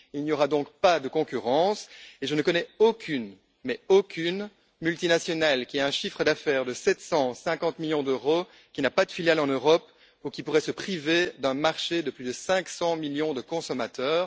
Il n'y aura donc pas de distorsion de la concurrence et je ne connais aucune, absolument aucune multinationale qui a un chiffre d'affaires de 750 millions d'euros, qui n'a pas de filiale en Europe ou qui pourrait se priver d'un marché de plus de 500 millions de consommateurs.